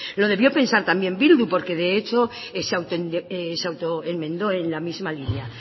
lo debió pensar también bildu porque de hecho se auto enmendó en la misma línea